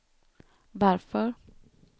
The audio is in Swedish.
varför